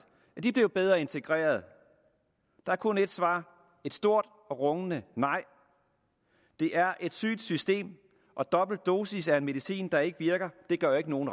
er de blevet bedre integreret der er kun ét svar et stort rungende nej det er et sygt system og dobbeltdosis af en medicin der ikke virker gør ikke nogen